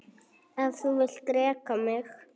Ef þú vilt reka mig?